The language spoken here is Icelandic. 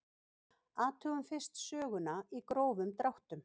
Athugum fyrst söguna í grófum dráttum.